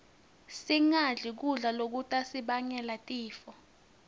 singadli kudla lokutasibangela tifo